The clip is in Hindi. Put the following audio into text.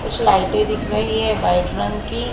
कुछ लाइटें दिख रही हैं वाइट रंग की।